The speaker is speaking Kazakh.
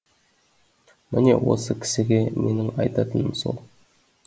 міне осы кісіге менің айтатыным сол